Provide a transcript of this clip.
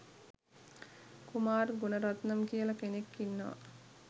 කුමාර් ගුණරත්නම් කියල කෙනෙක් ඉන්නවා